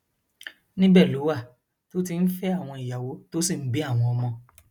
níbẹ ló wà tó ti ń fẹ àwọn ìyàwó tó sì ń bí àwọn ọmọ